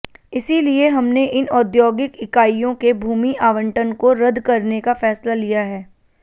इसीलिए हमने इन औद्योगिक इकाइयों के भूमि आवंटन को रद्द करने का फैसला लिया है